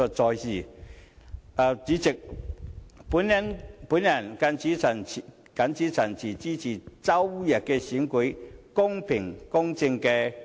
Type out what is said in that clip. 代理主席，我謹此陳辭，支持周日的選舉公平公正地舉行。